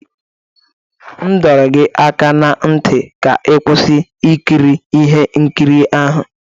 M dọrọ gị aka na ntị ka ị kwụsị ikiri ihe nkiri ahụ!